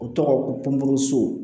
O tɔgɔ ko ponburu so